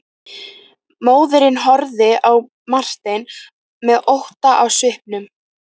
Móðirin horfði á Martein með ótta í svipnum.